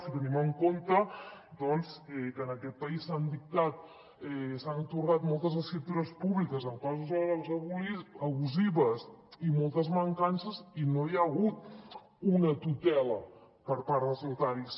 si tenim en compte doncs que en aquest país s’han dictat s’han atorgat moltes escriptures públiques amb clàusules abusives i moltes mancances i no hi ha hagut una tutela per part dels notaris